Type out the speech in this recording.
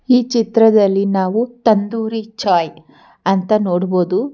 ಈ ಚಿತ್ರದಲ್ಲಿ ನಾವು ತಂದೂರಿ ಚಾಯ್ ಅಂತ ನೋಡ್ಬಹುದು.